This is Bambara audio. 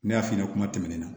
Ne y'a f'i ɲɛna kuma tɛmɛnen na